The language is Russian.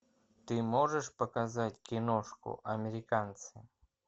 ты можешь показать киношку американцы